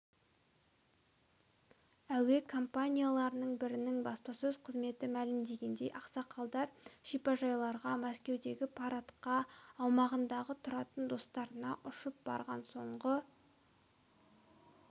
әуе компанияларының бірінің баспасөз қызметі мәлімдегендей ақсақалдар шипажайларға мәскеудегі парадқа аумағында тұратын достарына ұшып барған соңғы